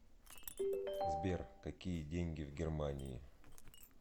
сбер какие деньги в германии